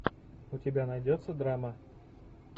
у тебя найдется драма